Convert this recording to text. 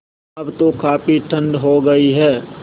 अब तो काफ़ी ठण्ड हो गयी है